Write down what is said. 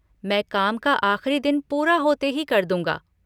मैं काम का आख़िरी दिन पूरा होते ही कर दूँगा।